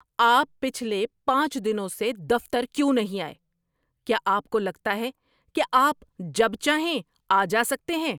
آپ پچھلے پانچ دنوں سے دفتر کیوں نہیں آئے؟ کیا آپ کو لگتا ہے کہ آپ جب چاہیں آ جا سکتے ہیں؟